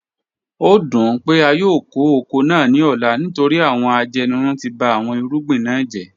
O dun pe a yoo ko oko naa ni ọla nitori awọn ajenirun ti ba awọn irugbin na jẹ